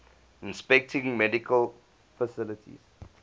inspecting medical facilities